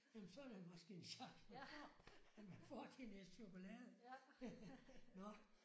Jamen så er der måske en chance for at man får til en æske chokolade. Nåh